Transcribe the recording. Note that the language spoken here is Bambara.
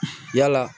Yala